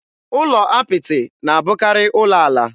Ụlọ apịtị na-abụkarị ụlọ ala.